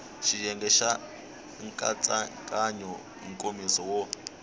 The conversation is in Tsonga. xiyenge xa nkatsakanyo nkomiso wo